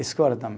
Escola tam